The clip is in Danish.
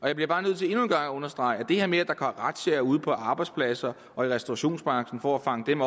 jeg bliver bare nødt til endnu en gang at understrege at det her med at er razziaer ude på arbejdspladser og i restaurationsbranchen for at fange dem